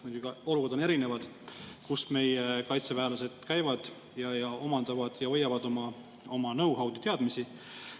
Muidugi, olukorrad on seal erinevad, kus meie kaitseväelased käivad ning omandavad know-how'd ja teadmisi.